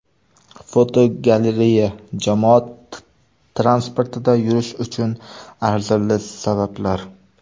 Fotogalereya: Jamoat transportida yurish uchun arzirli sabablar.